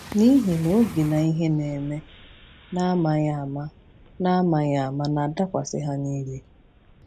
“N’ihi na oge na ihe na-eme n’amaghị ama n’amaghị ama na-adakwasị ha niile.”